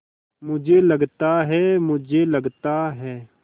मुझे लगता है मुझे लगता है